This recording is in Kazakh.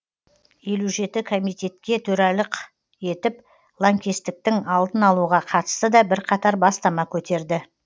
елу жеті комитетке төралық етіп лаңкестіктің алдын алуға қатысты да бірқатар бастама көтерді